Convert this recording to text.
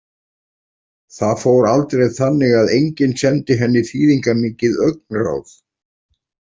Það fór aldrei þannig að enginn sendi henni þýðingarmikið augnaráð.